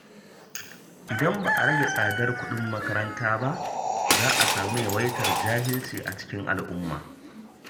Idan ba a rage tsadar kuɗin makaranta ba, za a samu yawaitar jahilci a cikin al’umma.